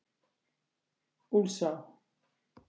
Úlfsá